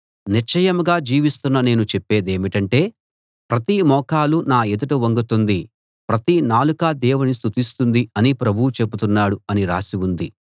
నిశ్చయంగా జీవిస్తున్న నేను చెప్పే దేమిటంటే ప్రతి మోకాలు నా ఎదుట వంగుతుంది ప్రతి నాలుకా దేవుని స్తుతిస్తుంది అని ప్రభువు చెబుతున్నాడు అని రాసి ఉంది